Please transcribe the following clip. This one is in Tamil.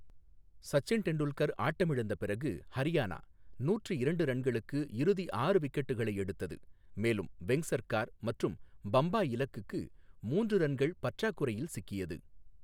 சச்சின் டெண்டுல்கர் ஆட்டமிழந்த பிறகு, ஹரியானா நூற்று இரண்டு ரன்களுக்கு இறுதி ஆறு விக்கெட்டுகளை எடுத்தது, மேலும் வெங்க்சர்கார் மற்றும் பம்பாய் இலக்குக்கு மூன்று ரன்கள் பற்றாக்குறையில் சிக்கியது.